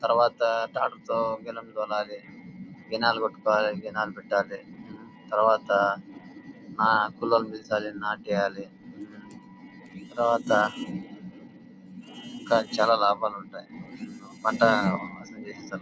తర్వాత టాక్టర్ తో పెట్టాలి. తర్వాత ఆ పుల్లలు తరవాత ఇంకా చాలా లాభాలు ఉంటాయి.